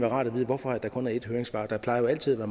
rart at vide hvorfor der kun er et høringssvar der plejer jo altid at være